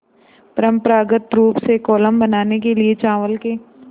परम्परागत रूप से कोलम बनाने के लिए चावल के